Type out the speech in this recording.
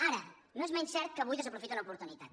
ara no és menys cert que avui desaprofita una oportunitat